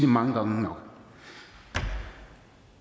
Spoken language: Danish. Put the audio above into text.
mange gange nok